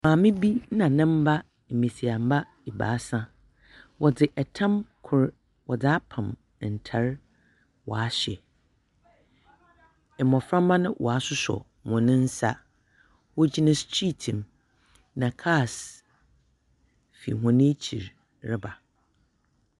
Maame bi nna ne mma basia mma baasa wɔde ntam koro wɔde apam ntare wɔahyɛ mmofra mma no w'asosɔ wɔn nsa wogyina strit na kaas fi wɔn akyi reba.